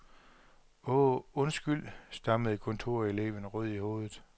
Åh, undskyld, stammede kontoreleven rød i hovedet.